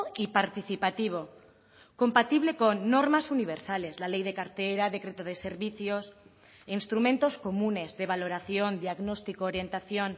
y participativo compatible con normas universales la ley de cartera decreto de servicios instrumentos comunes de valoración diagnóstico orientación